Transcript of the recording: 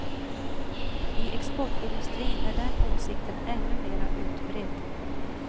I exportindustrin är den åsikten ännu mera utbredd.